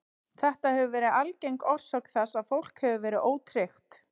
Þetta hefur verið algeng orsök þess að fólk hefur verið ótryggt.